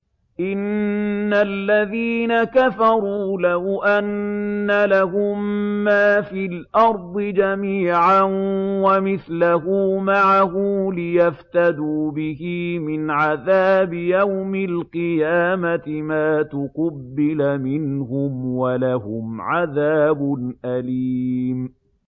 إِنَّ الَّذِينَ كَفَرُوا لَوْ أَنَّ لَهُم مَّا فِي الْأَرْضِ جَمِيعًا وَمِثْلَهُ مَعَهُ لِيَفْتَدُوا بِهِ مِنْ عَذَابِ يَوْمِ الْقِيَامَةِ مَا تُقُبِّلَ مِنْهُمْ ۖ وَلَهُمْ عَذَابٌ أَلِيمٌ